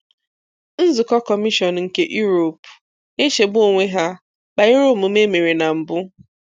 Nzukọ kọmishọn nke Europe, na-echegbu onwe ha, banyere omume e mere na mbụ.